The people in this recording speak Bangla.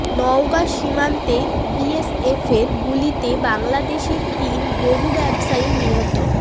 নওগাঁ সীমান্তে বিএসএফের গুলিতে বাংলাদেশি তিন গরু ব্যবসায়ী নিহত